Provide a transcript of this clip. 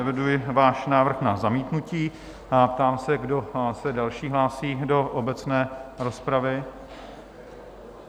Eviduji váš návrh na zamítnutí a ptám se, kdo se další hlásí do obecné rozpravy?